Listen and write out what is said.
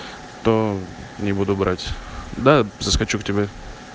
то не буду брать да заскочу к тебе